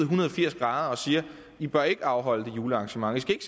hundrede og firs grader og siger i bør ikke afholde det julearrangement i skal ikke